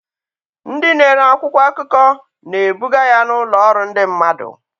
Ndị na-ere akwụkwọ akụkọ na-ebuga ya n'ụlọ ọrụ ndị mmadụ.